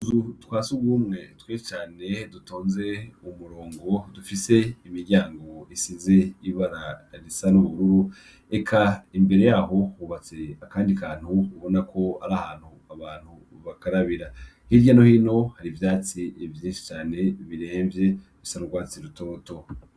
Utuzu twasugumwe twinshi Cane dutonze kumurongo dufise imiryango isize ibara risa nubururu Eka Imbere yaho hubatse akandi kantu biboneka ko ari ahantu bakarabira hirya no hino hari ivyatsi vyinshi cane biremvye bisa nurwatsi rutoto.